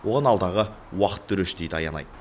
оған алдағы уақыт төреші дейді аянай